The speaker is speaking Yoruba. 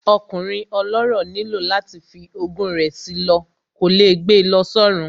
Ọkùnrin ọlọ́rọ̀ nílò láti fi ogún rẹ̀ sí lọ, kò lè gbe lọ sọ́run